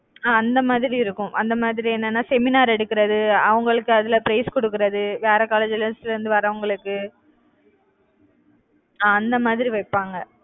அஹ் அந்த மாதிரி இருக்கும். அந்த மாதிரி என்னன்னா seminar எடுக்குறது அவங்களுக்கு அதுல prize கொடுக்கிறது வேற colleges ல இருந்து வர்றவங்களுக்கு அஹ் அந்த மாதிரி வைப்பாங்க.